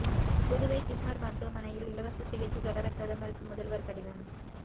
Puduvai JIPMER மருத்துவமனையில் இலவச சிகிச்சை தொடர பிரதமருக்கு முதல்வர் கடிதம்